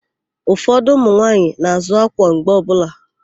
Ụfọdụ ụmụnwaanyị na-àzụ́ ákwà mgbe ọbụla.